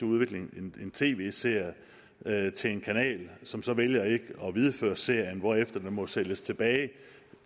udvikle en tv serie serie til en kanal som så vælger ikke at videreføre serien hvorefter den må sælges tilbage